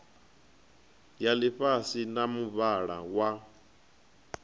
ya ḽifhasi ya muvhala wa